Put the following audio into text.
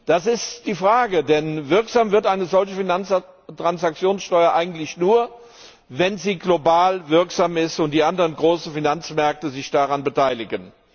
Das ist die Frage, denn wirksam wird eine solche Finanztransaktionssteuer eigentlich nur, wenn sie global wirksam ist und die anderen großen Finanzmärkte sich daran beteiligen.